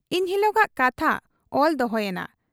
ᱤᱱᱦᱤᱞᱚᱜᱟᱜ ᱠᱟᱛᱷᱟ ᱚᱞ ᱫᱚᱦᱚᱭᱮᱱᱟ ᱾